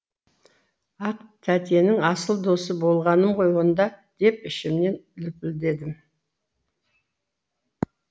ақ тәтенің асыл досы болғаным ғой онда деп ішімнен лүпілдедім